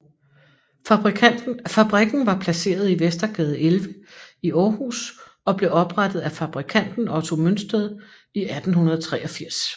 Fabrikken var placeret i Vestergade 11 i Aarhus og blev oprettet af fabrikanten Otto Mønsted i 1883